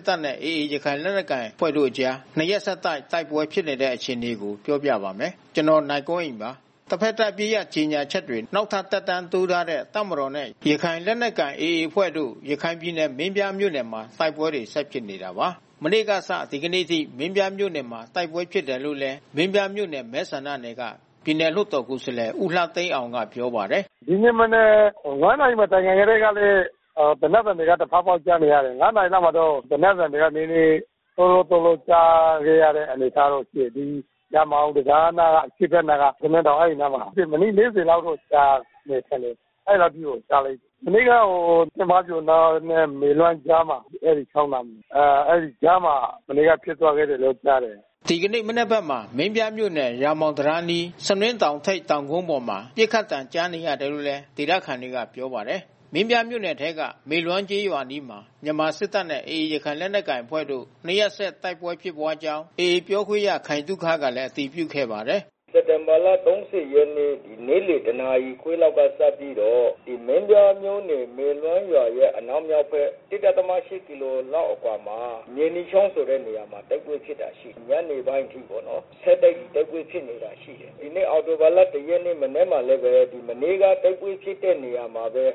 စ်တပ်နဲ့ AA ရခိုင်လက်နက်ကိုင်အဖွဲ့ကြား ၂ ရက် ဆက်တိုက် တိုက်ပွဲဖြစ်ခဲ့တဲ့ အခြေအနေကို ဗွီအိုအေမြန်မာပိုင်းသတင်းထောက် ကိုနိုင်ကွန်းအိန်က ပြောပြပါမယ်။ တဘက်သတ် အပစ်ရပ်ကြေညာချက်တွေ နောက်ထပ် သက်တမ်းတိုးထားတဲ့ တပ်မတော်နဲ့ ရခိုင်လက်နက်ကိုင်အဖွဲ့ AA တို့ ရခိုင်ပြည်နယ် မင်းပြားမြို့နယ်မှာ တိုက်ပွဲတွေ ဆက်ဖြစ်နေတာပါ။ မနေ့ကစ ဒီနေ့အထိ မင်းပြားမြို့နယ်မှာ တိုက်ပွဲဖြစ်ခဲ့တာလို့လည်း မင်းပြားမြို့နယ်မဲဆန္ဒနယ်က ပြည်နယ်လွှတ်တော်ကိုယ်စားလှယ်ဦးလှသိန်းအောင်ကပြောပါတယ်။ “ဒီနေ့မနက် ၅ နာရီမတိုင်ခင်ကတည်းက သေနတ်သံတွေ တဖေါက်ဖေါက်ကြားနေရတယ်။ ၅ နာရီလောက်မှာတော့ သေနတ်သံတွေက ဒုန်းဒုန်းဒုန်း ကြားခဲ့ရတဲ့အနေထားတော့ရှိတယ်။ ရာမောင်တံတားနားက အရှေ့ဘက်နားက ဆနွင်းတောင်အဲဒီအနားမှာ။ မိနစ် ၄၀ လောက်တော့ကြားရတယ်။ မနေ့က ဖားပြိုအနောက်နဲ့ မေလွမ်းကြားမှာ အဲဒီချောင်းမှာဖြစ်ပွါးခဲ့တယ်လို့ကြားတယ်။” ဒီကနေ့ မနက်ဘက်မှာ မင်းပြားမြို့နယ် ရာမောင်တံတားအနီး ဆနွင်းတောင်ဝင်ဝ တောင်ကုန်းပေါ်မှာ ပစ်ခတ်သံကြားနေရတယ်လို့လည်း ဒေသခံတွေက ပြောပါတယ်။ မင်းပြားမြို့နယ်ထဲက မေလွမ်းကျေးရွာအနီးမှာ မြန်မာစစ်တပ်နဲ့ AA ရခိုင်လက်နက်ကိုင်အဖွဲ့တို့ နှစ်ရက်ဆက် တိုက်ပွဲဖြစ်ပွါးကြောင်း AA ပြောခွင့်ရ ခိုင်သုခကလည်း အတည်ပြုခဲ့ပါတယ်။ “စက်တင်ဘာလ ၃၀ ရက်နေ့ နေ့လယ်တနာရီခွဲကစပြီးတော့ မင်းပြားမြို့နယ်မေလွမ်းရွာရဲ့အနောက်မြောက်ဘက် ၁.၈ ကီလိုမီတာလောက်အကွာမှာ မြေနီချောင်းဆိုတဲ့နေရာမှာ တိုက်ပွဲဖြစ်တာရှိတယ်။ ညနေပိုင်းအထိပေါ့နော် တိုက်ပွဲဖြစ်နေတာရှိတယ်။ ဒီနေ့အောက်တိုဘာလ ၁ ရက်နေ့ မနက်မှာလည်းပဲ မနေ့က တိုက်ပွဲဖြစ်တဲ့နေရာမှာပဲ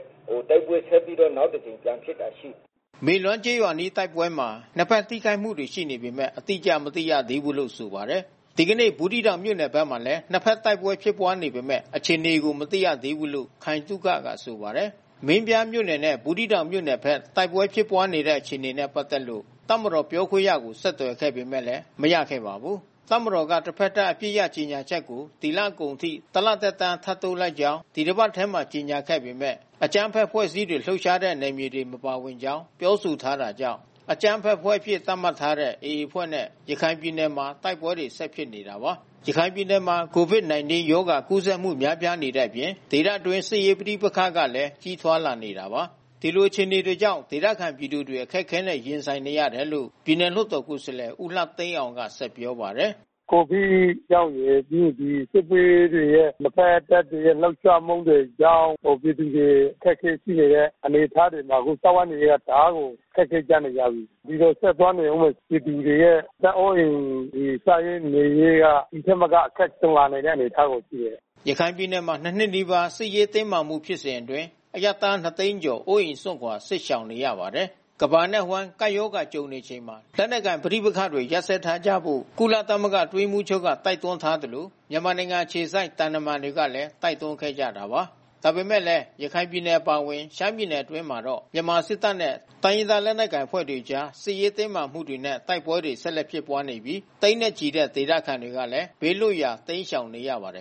တိုက်ပွဲဆက်ပြီးတော့နောက်တကြိမ်ပြန်ဖြစ်တာ ရှိတယ်။” မေလွမ်းကျေးရွာအနီးတိုက်ပွဲမှာ နှစ်ဘက်ထိခိုက်မှုတွ ရှိနေပေမဲ့ အတိအကျမသိရသေးဘူးလို့ဆိုပါတယ်။ ဒီကနေ့ ဘူးသီးတောင်မြို့နယ်ဘက်မှာလည်း နှစ်ဘက်တိုက်ပွဲဖြစ်ပွါးနေပေမဲ့ အခြေအနေကို မသိရသေးဘူးလို့ ခိုင်သုခကဆိုပါတယ်။ မင်းပြားမြို့နယ်နဲ့ ဘူးသီးတောင်မြို့နယ်ဘက်တိုက်ပွဲဖြစ်ပွါးနေတဲ့ အခြေအနေနဲ့ပက်သက်လို့ တပ်မတော်ပြောခွင့်ရကို ဆက်သွယ်ခဲ့ပေမဲ့ မရခဲ့ပါဘူး။ တပ်မတော်က တဘက်သတ် အပစ်ရပ်ကြေညာချက်ကို ဒီလကုန်အထိ ၁ လသက်တမ်း ထပ်တိုးလိုက်ကြောင်း ဒီတပတ်ထဲမှာပဲ ကြေညာခဲ့ပေမဲ့ အကြမ်းဖက် အဖွဲ့အစည်းတွေ လှုပ်ရှားတဲ့နယ်မြေတွေ မပါဝင်ကြောင်း ပြောဆိုထားတာကြောင့် အကြမ်းဖက်အဖွဲ့အဖြစ် သတ်မှတ်ထားတဲ့ AA အဖွဲ့နဲ့ ရခိုင်ပြည်နယ်မှာ တိုက်ပွဲတွေ ဆက်ဖြစ်နေတာပါ။ ရခိုင်ပြည်နယ်မှာ COVID-19 ရောဂါကူးစက်မှု များပြားနေတဲ့အပြင် ဒေသအတွင်းစစ်ရေးပဋိပက္ခကလည်း ကြီးထွားလာနေတာပါ။ ဒီလိုခြေအနေတွေကြောင့် ဒေသခံပြည်သူတွေ အခက်ခဲနဲ့ ရင်ဆိုင်နေရတယ်လို့ ပြည်နယ်လွှတ်တော် ကိုယ်စား လှယ်ဦးလှသိန်းအောင်ကပြောပါတယ်။ “COVID ကြောင့်ရယ် ပြီးရင်စစ်ဘေးတွေရဲ့ နှစ်ဘက်တပ်တွေရဲ့ လှုပ်ရှားမှုတွေကြောင့်ပြည်သူတွေ အခက်ခဲရှိနေတဲ့ အနေအထားတွေ အခုစားဝတ်နေရေး တအားကို အခက်ခဲရောက်နေကြပြီ။ ဒီလိုဆက်သွားနေဦးမယ် ပြည်သူတွေရဲ့ အသက်အိုးအိမ် စားဝတ်နေရေးက ဒီထက်မက အခက်ကြုံလာမယ့် အနေအထားမှာ ရှိတယ်။” ရခိုင်ပြည်နယ်မှာ ၂ နှစ်နီးပါး စစ်ရေးတင်းမာမှု ဖြစ်စဉ်အတွင်း အရပ်သား ၂၀၀,၀၀၀ ကျော် အိုးအိမ်စွန့်ခွာ စစ်ရှောင်နေရပါတယ်။ ကမ္ဘာတဝန်း ကပ်ရောဂါနဲ့ ကြုံနေရချိန်မှာ လက်နက်ကိုင်ပဋိပက္ခတွေ ရပ်စဲထားကြဖို့ ကုလသမဂ္ဂ အတွင်းရေးမှူးချုပ်က တိုက်တွန်းထားသလို မြန်မာနိုင်ငံ အခြေစိုက် သံတမန်တွေကလည်း တိုက်တွန်းခဲ့ကြတာပါ။ ဒါပေမဲ့လည်း ရခိုင်ပြည်နယ် အပါအဝင် ရှမ်းပြည်နယ်အတွင်းမှာတော့ မြန်မာစစ်တပ်နဲ့ တိုင်းရင်းသားလက်နက်ကိုင်အဖွဲ့တွေ အကြား စစ်ရေးတင်းမာမှုတွေနဲ့ တိုက်ပွဲတွေ ဆက်လက်ဖြစ်ပွားနေပြီး သိန်းနဲ့ချီတဲ့ ဒေသခံတွေလည်း ဘေးလွတ်ရာ တိမ်းရှောင်နေရပါတယ်